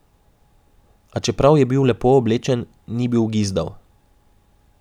A čeprav je bil lepo oblečen, ni bil gizdav.